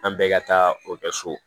An bɛɛ ka taa o kɛ so